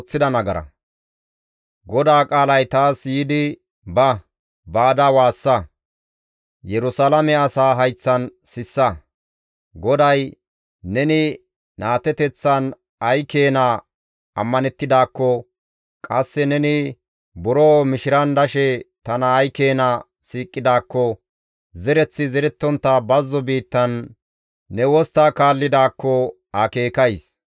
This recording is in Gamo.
«Ba! Baada waassa; Yerusalaame asaa hayththan sissa; GODAY, ‹Neni naateteththan ay keena ammanettidaakko, qasse neni buro mishiran dashe tana ay keena siiqidaakko, zereththi zerettontta bazzo biittan ne wostta kaallidaakko ta akeekays.